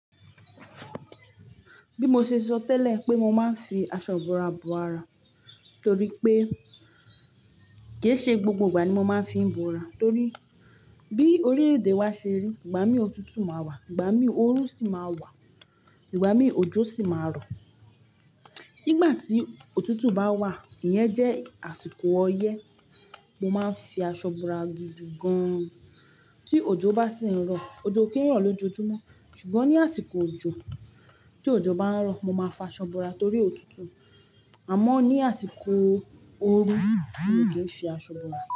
Bí mo ṣe sọ tẹ́lẹ̀ pé mo máa ń fi aṣọ ibora bo ara torí pé kì í ṣe gbogbo ìgbà ni mo máa ń fi bora, torí bí orí èdè wa ṣe rí, ìgbà mí ọ̀tútù máa wà, ìgbà mí ooru sì máa wà, ìgbà mí òjò sì máa rọ̀. Nígbà tí òtútù bá wà, iyẹn jẹ́ àsìkò ọyẹ́, mo máa ń fi aṣọ bora gidi gan. Tí òjò bá sì ń rọ̀, òjò o kì n rọ̀ lójoojúmọ́. Ṣùgbọ́n ní àsìkò òjò, tí òjò bá ń rọ̀, mo máa fa aṣọ bora torí òtútù. Àmọ́ ní àsìkò ooru, mo kì í fi aṣọ bora.